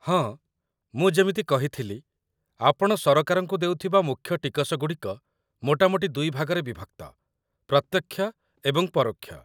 ହଁ, ମୁଁ ଯେମିତି କହିଥିଲି, ଆପଣ ସରକାରଙ୍କୁ ଦେଉଥିବା ମୁଖ୍ୟ ଟିକସଗୁଡ଼ିକ ମୋଟାମୋଟି ଦୁଇଭାଗରେ ବିଭକ୍ତ ପ୍ରତ୍ୟକ୍ଷ ଏବଂ ପରୋକ୍ଷ।